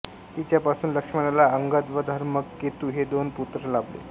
तिच्यापासून लक्ष्मणाला अंगद व धर्मकेतु हे दोन पुत्र लाभले